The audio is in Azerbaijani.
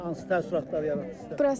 Hansı təəssüratlar yaratdı?